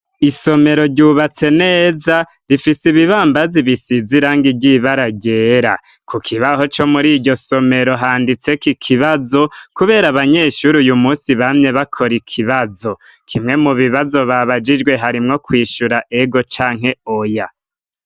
Isomero ryubatse neza rifise ibibambazi bisize irangi ry'ibara ryera. Ku kibaho co muriryo somero handitseko ikibazo, kubera abanyeshure uyu munsi bamye bakora ikibazo. Kimwe mu bibazo babajijwe harimwo kwishura ego canke oya.